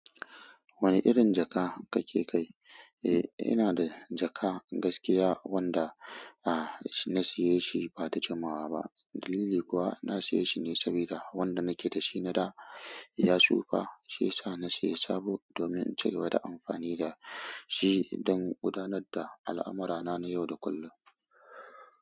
Wani irin jaka kake kai? Eh, ina da jaka gaskiya wanda, ah, na siye shi ba da jamawa ba. Dalili kuwa na saye shi ne sabida wanda nake da shi na da ya tsufa, shi ya sa na sayi sabo domin in cigaba da amfani da shi don gudanar da al'amurana na yau da kullum.